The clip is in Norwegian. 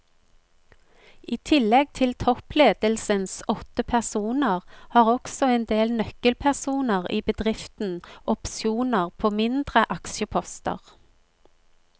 I tillegg til toppledelsens åtte personer har også en del nøkkelpersoner i bedriften opsjoner på mindre aksjeposter.